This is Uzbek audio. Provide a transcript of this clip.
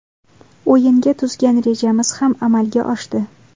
O‘yinga tuzgan rejamiz ham amalga oshdi.